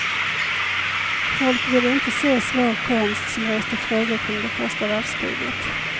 Folk ville inte se svår konst som reste frågor kring det första världskriget.